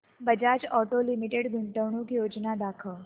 Bajaj auto limited गुंतवणूक योजना दाखव